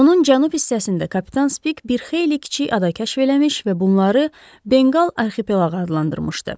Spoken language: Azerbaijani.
Onun cənub hissəsində kapitan Spik bir xeyli kiçik ada kəşf eləmiş və bunları Benqal arxipelaq adlandırmışdı.